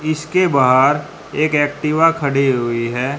इसके बाहर एक एक्टिवा खड़ी हुई है।